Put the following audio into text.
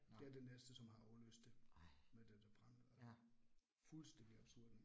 Det er det næste som har afløst det med dette brand og, fuldstændig absurd